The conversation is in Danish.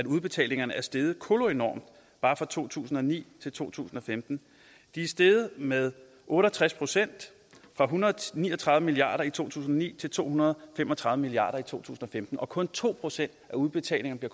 udbetalingerne er steget koloenormt bare fra to tusind og ni til to tusind og femten de er steget med otte og tres procent fra en hundrede og ni og tredive milliard kroner i to tusind og ni til to hundrede og fem og tredive milliard tusind og femten og kun to procent af udbetalingerne